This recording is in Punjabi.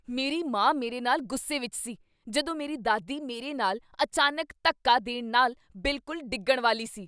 ਮੇਰੀ ਮਾਂ ਮੇਰੇ ਨਾਲ ਗੁੱਸੇ ਵਿੱਚ ਸੀ ਜਦੋਂ ਮੇਰੀ ਦਾਦੀ ਮੇਰੇ ਨਾਲ ਅਚਾਨਕ ਧੱਕਾ ਦੇਣ ਨਾਲ ਬਿਲਕੁਲ ਡਿੱਗਣ ਵਾਲੀ ਸੀ।